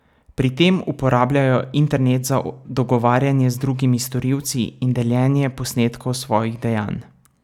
Pri tem uporabljajo internet za dogovarjanje z drugimi storilci in deljenje posnetkov svojih dejanj.